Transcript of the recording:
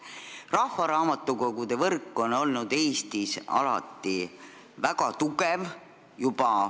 Rahvaraamatukogude võrk on olnud Eestis alati väga tugev.